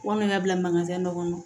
Wa min ka bila manzan dɔ kɔnɔ